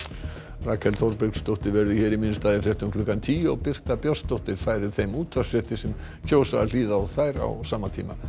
Rakel Þorbergsdóttir verður hér í minn stað í fréttum klukkan tíu og Birta Björnsdóttir færir þeim útvarpsfréttir sem kjósa að hlýða á þær á sama tíma